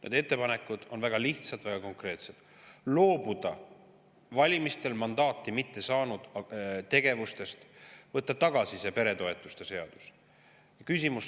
Need ettepanekud on väga lihtsad ja konkreetsed: loobuda valimistel mandaati mitte saanud tegevustest ja võtta tagasi see peretoetuste.